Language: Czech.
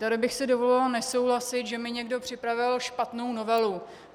Tady bych si dovolila nesouhlasit, že mi někdo připravil špatnou novelu.